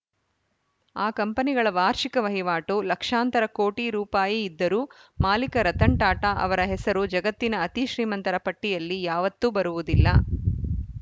ಆ ಕಂಪನಿಗಳ ವಾರ್ಷಿಕ ವಹಿವಾಟು ಲಕ್ಷಾಂತರ ಕೋಟಿ ರೂಪಾಯಿ ಇದ್ದರೂ ಮಾಲಿಕ ರತನ್‌ ಟಾಟಾ ಅವರ ಹೆಸರು ಜಗತ್ತಿನ ಅತಿ ಶ್ರೀಮಂತರ ಪಟ್ಟಿಯಲ್ಲಿ ಯಾವತ್ತೂ ಬರುವುದಿಲ್ಲ